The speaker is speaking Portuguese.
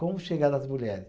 Como chegar nas mulheres?